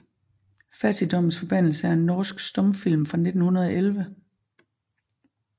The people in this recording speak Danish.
Fattigdommens forbandelse er en norsk stumfilm fra 1911